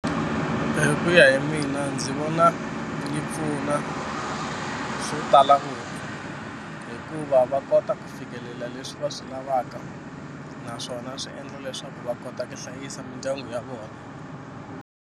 Hi ku ya hi mina ndzi vona yi pfuna swo tala ku hikuva va kota ku fikelela leswi va swi lavaka naswona swi endla leswaku va kota ku hlayisa mindyangu ya vona.